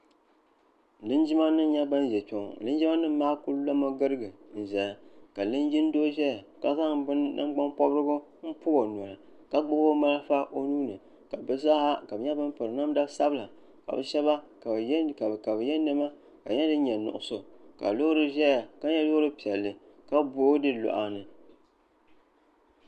Linjima nima n nyɛ ban ʒɛ kpeŋɔ Linjima maa kuli lomi girigi n zaya ka linjin doo zaya ka zaŋ nangban pobrigu m pobi o noli ka gbibi o marafa o nuuni ka bɛ zaaha ka bɛ nyɛ ban piri namda sabla ka bɛ sheba ka bɛ ye niɛma ka so jinjiɛm nuɣuso ka loori ʒɛya ka nyɛ loori piɛlli ka boogi di luɣa ni.